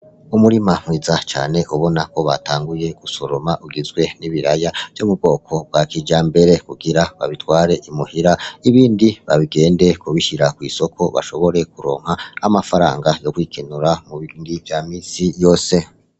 Umurima mwiza cane ubona ko batanguye gusoroma ugizwe n'ibiharage bwo mu bwoko bwa kijambere, kugira babitware muhira, ibindi bagende kubishira kw'isoko bashobore kuronka amafaranga yo kwikenura mu bindi vya misi yose.